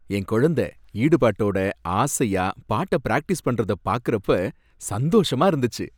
என் குழந்த ஈடுபாடோட ஆசையா பாட்ட ப்ராக்டிஸ் பண்றத பாக்குறப்ப சந்தோஷமா இருந்துச்சு.